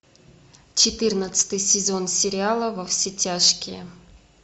четырнадцатый сезон сериала во все тяжкие